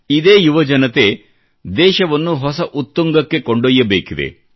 ಇದೇ ಯುವ ಜನತೆ ದೇಶವನ್ನು ಹೊಸ ಉತ್ತುಂಗಕ್ಕೆ ಕೊಂಡೊಯ್ಯಬೇಕಿದೆ